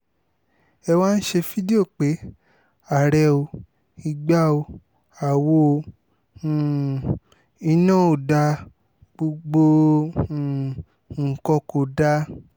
ẹ wá ń ṣe fídíò pé àárẹ̀ ò igba ó àwọ̀ o um iná ò dáa gbogbo um nǹkan kò dáa